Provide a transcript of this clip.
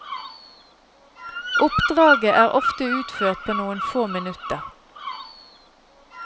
Oppdraget er ofte utført på noen få minutter.